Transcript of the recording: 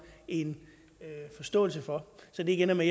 en forståelse for så det ikke ender med